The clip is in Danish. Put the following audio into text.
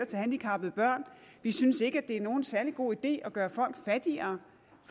til handicappede børn vi synes ikke at det er nogen særlig god idé at gøre folk fattigere